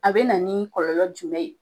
A bɛ na nin kɔlɔlɔ jumɛn ye?